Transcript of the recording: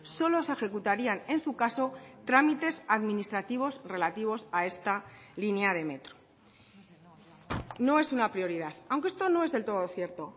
solo se ejecutarían en su caso trámites administrativos relativos a esta línea de metro no es una prioridad aunque esto no es del todo cierto